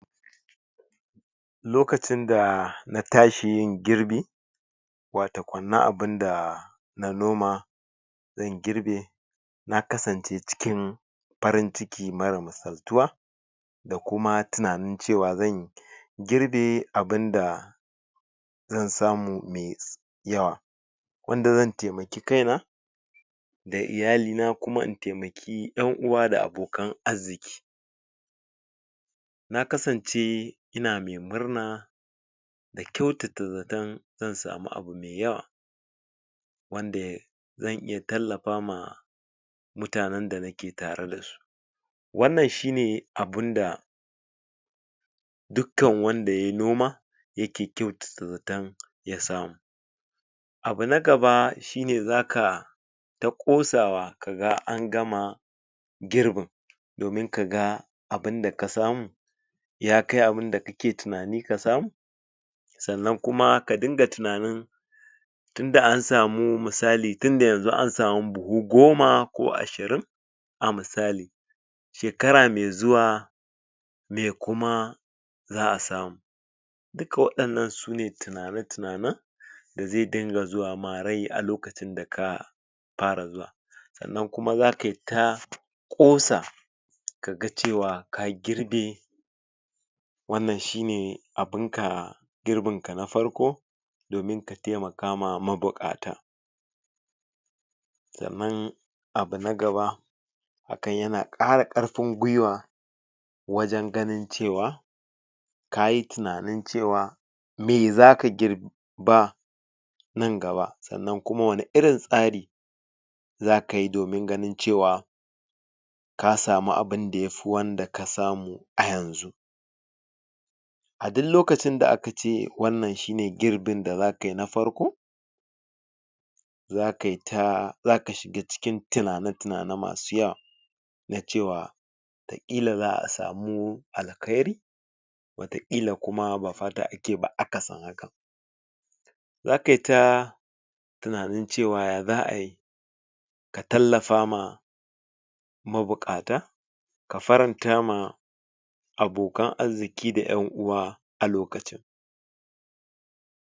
Lokacin da natashi yin girbi watakan na abunda na noma zan girbe na kasance cikin farin ciki mara misaltuwa da kuma tunanin cewa zan girbe abunda zan samu mai yawa wanda xan taimaki kaina da iyalina kuma in taimaki 'yan uwa da abokan arziki. Na kasance ina mai murna da kyautata zaton zan samu abu mai yawa wanda zan iya tallafa ma mutanen da nake tareda su. Wannan shine abunda dukkan wanda yayi noma yake kyautata zaton yasamu. Abu nagaba shine zaka ta ƙosawa kaga an gama girbin domin kaga abunda kasamu yakai abunda kake tunanin kasamu? Sannan kuma kadunga tunanin tunda ansamu misali tunda yanzu ansamu buhu goma ko ashirin a misali shekara mai zuwa me kuma za'a samu. Duka waɗannan sune tunane-tunanen da zai dinga zuwa ma rai lokacin da ka fara zuwa. Sannan kuma zakaita ƙosa kaga cewa ka girbe wannan shine abunka girbinka na farko domin ka taimaka ma mabuƙata. Sannan abu na gaba hakan yana ƙara ƙarfin gwiwa wajen ganin cewa kayi tunanin cewa me zaka girba nan gaba sannan kuma wani irin tsari zakayi domin ganin cewa ka samu abunda yafi wannan daka samu a yanzu. A duk lokacin da aka ce wannan shine girbin da za kayi na farko zakayita zaka shiga cikin tunane-tunane masu yawa na cewa kila za'a samu alkhairi wata ƙila kuma ba fata ake ba akasin hakan. Zakaita tunanin cewa ya zaayi ka tallafa ma mabuƙata ka faranta ma abokanan arziki da 'yan uwa a lokacin